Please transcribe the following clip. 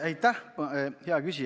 Aitäh, hea küsija!